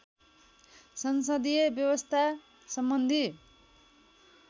संसदीय व्यवस्था सम्बन्धी